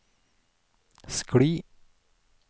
skli